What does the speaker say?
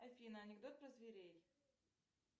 афина анекдот про зверей